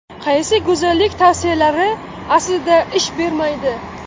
Qaysi go‘zallik tavsiyalari aslida ish bermaydi?.